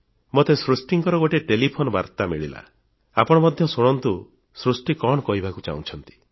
ମୋତେ ସୃଷ୍ଟିଙ୍କର ଗୋଟିଏ ଟେଲିଫୋନ୍ ବାର୍ତ୍ତା ମିଳିଲା ଆପଣ ମଧ୍ୟ ଶୁଣନ୍ତୁ ସୃଷ୍ଟି କଣ କହିବାକୁ ଚାହୁଁଛନ୍ତି